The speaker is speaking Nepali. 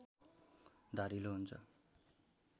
धारिलो हुन्छ